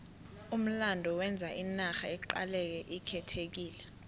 umlando wenza inarha iqaleke ikhethekile